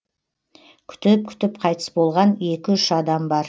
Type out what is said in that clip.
күтіп күтіп қайтыс болған екі үш адам бар